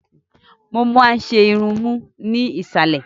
Mo máa n ṣe irun mu ni iìsàlẹ̀.